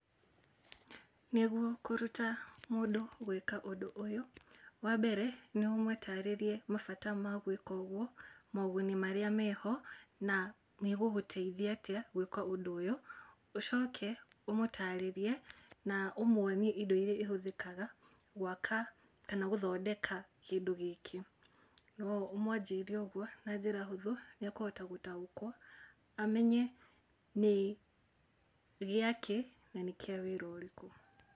Nĩguo kũruta mũndũ gwĩka ũndũ ũyũ, wa mbere nĩ ũmũtarĩrie mabata ma gwĩka ũguo, maũguni marĩa meho, na ĩgũgũtaithia atĩa gwĩka ũndũ ũyũ, ũcoke ũmũtarĩrie na ũmwonie indo iria ihũthĩkaga gwaka kana gũthondeka kĩndũ gĩkĩ. No ũmwanjĩirie ũguo na njĩra hũthũ, nĩ ekũhota gũtaũkwo, amenya nĩ gĩakĩ na nĩ kĩa wĩra ũrĩkũ.